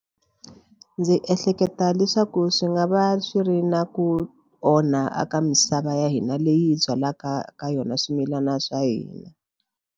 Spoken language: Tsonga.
Ndzi ehleketa leswaku swi nga va swi ri na ku onha a ka misava ya hina leyi byalaka ka yona swimilana swa hina.